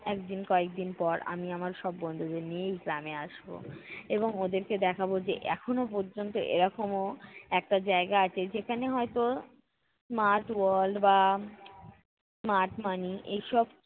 একদিন কয়েকদিন পর আমি আমার সব বন্ধুদের নিয়েই গ্রামে আসব। এবং ওদেরকে দেখাবো যে এখন পর্যন্ত এরকমও একটা জায়গা আছে যেখানে হয়ত smart world বা smart money এইসব